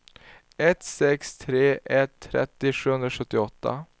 ett sex tre ett trettio sjuhundrasjuttioåtta